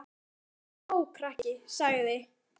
Þú þarft að fá skó, krakki sagði